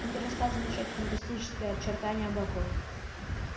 он перестал замечать фантастические очертания облаков